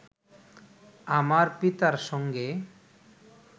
আমার পিতার সঙ্গে